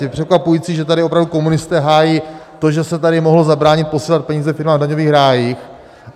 Je překvapující, že tady opravdu komunisté hájí to, že se tady mohlo zabránit posílat peníze firmám v daňových rájích.